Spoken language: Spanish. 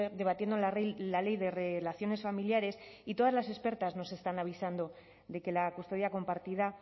debatiendo la ley de relaciones familiares y todas las expertas nos están avisando de que la custodia compartida